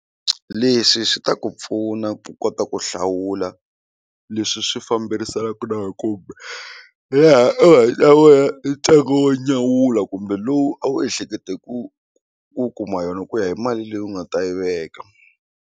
Leswi swi ta ku pfuna ku kota ku hlawula leswi swi famberisanaku na laha u nga ta vona ntsengo wo nyawula kumbe lowu a wu ehlekete ku ku kuma yona ku ya hi mali leyi u nga ta yi veka.